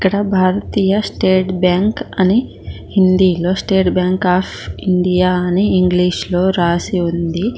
అక్కడ భారతీయ state bank అని హిందీలో స్టేట్ బ్యాంక్ ఆఫ్ ఇండియా అని ఇంగ్లీషులో రాసి ఉంది.